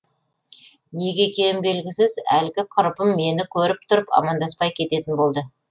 неге екені белгісіз әлгі құрбым мені көріп тұрып амандаспай кететін болды